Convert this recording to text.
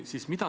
Aitäh!